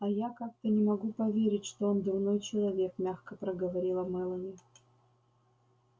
а я как-то не могу поверить что он дурной человек мягко проговорила мелани